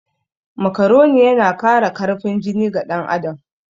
Makaroni yana Kara karfin jiki ga ɗan adam